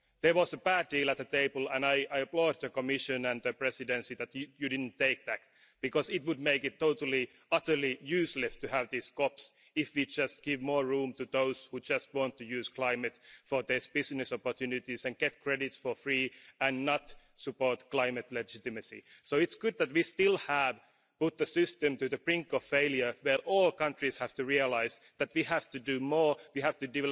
There was a bad deal on the table and I applaud the Commission and the Presidency that you didn't take that, because it would make it totally, utterly useless to have these COPs if we just give more room to those who just want to use climate for their business opportunities, get credits for free and not support climate legitimacy. So it's good that we have brought the system to the brink of failure where all countries have to realise that we have to do more, that we have to